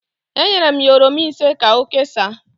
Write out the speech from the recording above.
Enyere m ya oroma ise ka o kesaa